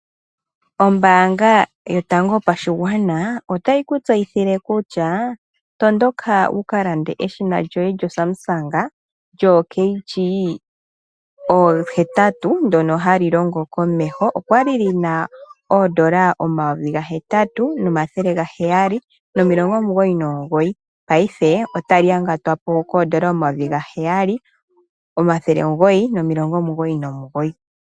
Ombaanga yotango yopashigwana otayi ku tseyithile kutya tondoka wuka lande eshina lyoye lyoSamsung lyoo kg 8 ndyoka hali longo komeho. Okwali lina $8799 otali yangatwapo $7999.